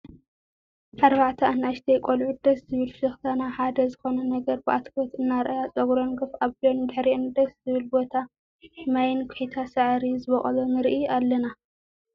ኣርባዕተ ኣናእሽተይ ቆልዑ ደስ ዝብል ፍሽክታ ናብ ሓደ ዝኮነ ነገር ብኣትኩሮት እናረኣያ ፀጉረን ጎፍ ኣቢለን ብድሕሪአን ደሰ ዝብል ቦታ ማይን ኩሒታት ሳዕሪ ዝቦቆሎ ንርኢ ኣለና።